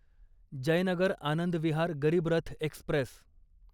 Jaynagar Anand Vihar Garib Rath Express